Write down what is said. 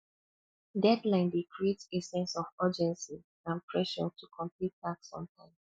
deadline dey create a sense of urgency and pressure to complete task on time